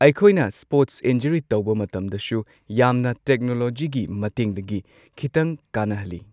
ꯑꯩꯈꯣꯏꯅ sports injury ꯇꯧꯕ ꯃꯇꯝꯗꯁꯨ ꯌꯥꯝꯅ ꯇꯦꯛꯅꯣꯂꯣꯖꯤꯒꯤ ꯃꯇꯦꯡꯗꯒꯤ ꯈꯤꯇꯪꯀꯥꯟꯅꯍꯜꯂꯤ꯫